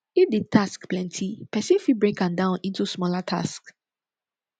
if di task plenty person fit break am down into smaller task